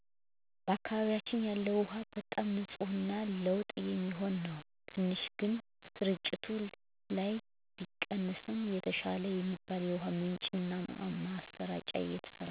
በአካባቢያችን ያለው ውሃ በጣም ንፅህ እና ለመጠጥ የሚሆን ነው። ትንሽ ግን ስርጭት ላይ ቢቀንስም የተሻለ የሚባል የውሃ ምንጭ እና ማሰራጫ እየተሰራ ነው